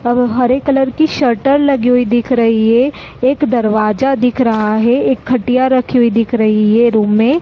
और हरे कलर की सटर लगी हुई दिख रही है एक दरवाजा दिख रहा है एक खटिया रखी हुई दिख रही है रूम में --